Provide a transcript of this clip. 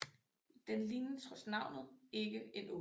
Den ligner trods navnet ikke en Ål